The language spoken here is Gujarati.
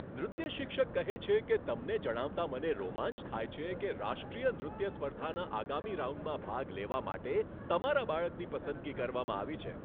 નૃત્ય શિક્ષક કહે છે કે, તમને જણાવતાં મને રોમાંચ થાય છે કે રાષ્ટ્રીય નૃત્ય સ્પર્ધાના આગામી રાઉન્ડમાં ભાગ લેવા માટે તમારા બાળકની પસંદગી કરવામાં આવી છે.